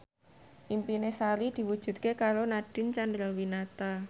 impine Sari diwujudke karo Nadine Chandrawinata